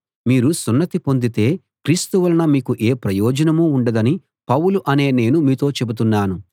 మీరు సున్నతి పొందితే క్రీస్తు వలన మీకు ఏ ప్రయోజనమూ ఉండదని పౌలు అనే నేను మీతో చెబుతున్నాను